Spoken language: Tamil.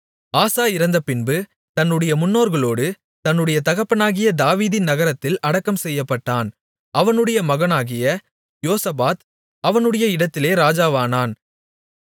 ஆசா இறந்தபின்பு தன்னுடைய முன்னோர்களோடு தன்னுடைய தகப்பனாகிய தாவீதின் நகரத்தில் அடக்கம் செய்யப்பட்டான் அவனுடைய மகனாகிய யோசபாத் அவனுடைய இடத்திலே ராஜாவானான்